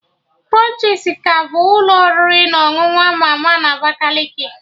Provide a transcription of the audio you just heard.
Krunchis ka bụ ụlọ oriri na ọṅụṅụ ama ama na Abakaliki